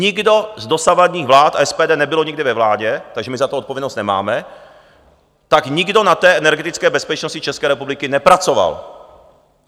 Nikdo z dosavadních vlád - a SPD nebylo nikdy ve vládě, takže my za to odpovědnost nemáme - tak nikdo na té energetické bezpečnosti České republiky nepracoval.